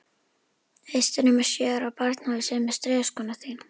Veistu nema sjö ára barn hafi saumað strigaskóna þína?